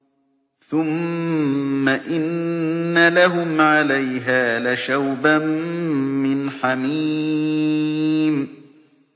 ثُمَّ إِنَّ لَهُمْ عَلَيْهَا لَشَوْبًا مِّنْ حَمِيمٍ